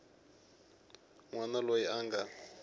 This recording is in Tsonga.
n wana loyi a nga